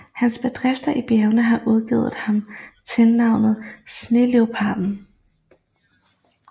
Hans bedrifter i bjergene har givet ham tilnavnet Sneleoparden